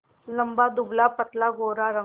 लंबा दुबलापतला गोरा रंग